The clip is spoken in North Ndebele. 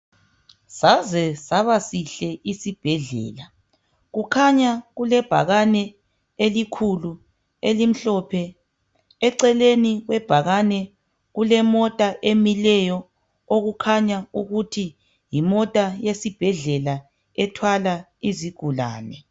Saze saba sihle isibhedlela kukhanya kulebhakane elikhulu elimhlophe eceleni kwebhakani kulemota emileyo okukhanya ukuthi yimota yesibhedlela ethwala izigulane.